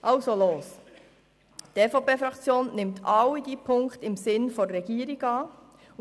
Also los: Die EVP-Fraktion nimmt alle Ziffern im Sinne der Regierung an.